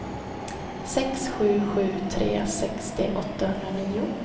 sex sju sju tre sextio åttahundranio